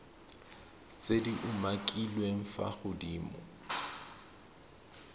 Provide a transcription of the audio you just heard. tse di umakiliweng fa godimo